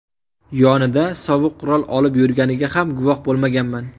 Yonida sovuq qurol olib yurganiga ham guvoh bo‘lmaganman.